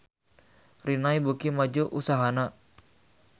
Rinnai beuki maju usahana